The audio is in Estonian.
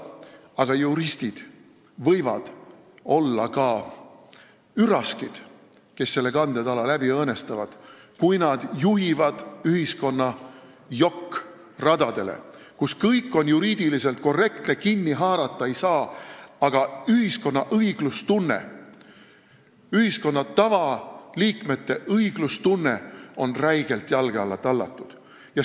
Aga juristid võivad olla ka üraskid, kes selle kandetala läbi õõnestavad, kui nad juhivad ühiskonna jokk-radadele, kus kõik on juriidiliselt korrektne, millestki kinni haarata ei saa, aga ühiskonna õiglustunne, ühiskonna tavaliikmete õiglustunne on räigelt jalge alla tallatud.